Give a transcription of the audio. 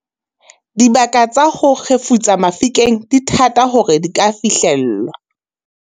dibaka tsa ho kgefutsa mafikeng di thata hore di ka fihlellwa